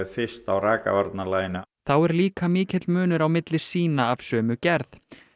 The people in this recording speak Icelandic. fyrst á rakavarnarlaginu þá er líka mikill munur á milli sýna af sömu gerð